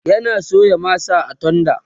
yana soya masa a tenda